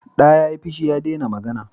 Da ya yi fushi, ya dena magana